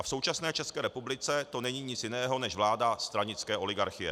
A v současné České republice to není nic jiného než vláda stranické oligarchie.